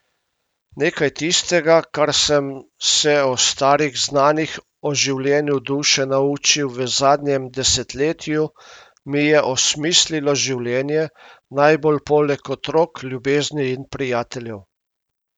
Nekaj tistega, kar sem se o starih znanjih o življenju duše naučil v zadnjem desetletju, mi je osmislilo življenje, najbolj poleg otrok, ljubezni in prijateljev.